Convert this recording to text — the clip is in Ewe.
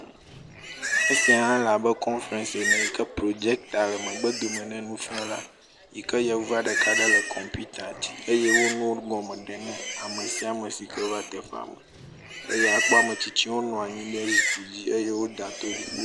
Esia le abe konferesi ene yi ke projector le megbe dome na nufiala yi ke yevua ɖeka le kɔmpita dzi eye wole nuwo gɔme ɖem na ame sia ame si ke va teƒe eye akpɔ ame tsitsiwo nɔ anyi ɖe zikpui dzi eye wodo to ɖi.